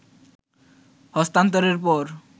হস্তান্তরের পর